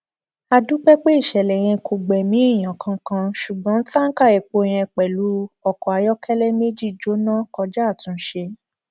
a dúpẹ pé ìṣẹlẹ yẹn kò gbẹmí èèyàn kankan ṣùgbọn tanka epo yẹn pẹlú ọkọ ayọkẹlẹ méjì jóná kọjá àtúnṣe